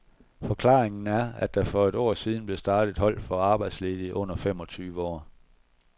Forklaringen er, at der for et år siden blev startet et hold for arbejdsledige under femogtyve år.